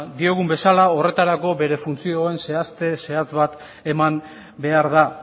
diogun bezala gorretarako bere funtzioen zehazte zehatz bat eman behar da